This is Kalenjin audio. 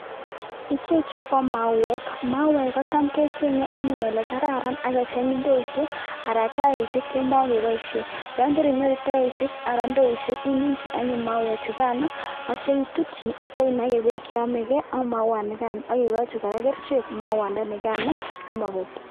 Ichechu ko mauwek, mauwek kotam kechenge anyun ole kararan akecheng indoishek anan tairishek chemakepoishen, yon karinyoru tairishek anan indoishek iminchin anyun mauwek chukan atyo itutyi atyo inaken beek che yomekei ak mauwat nikan aki kochi koe kerichek mauwanikan simabeek.